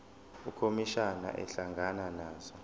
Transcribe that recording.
ukhomishana ehlangana nazo